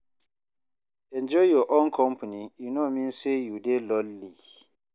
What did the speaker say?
Enjoy your own company, e no mean say you dey lonely.